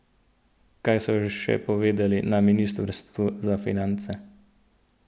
Kaj so še povedali na ministrstvu za finance?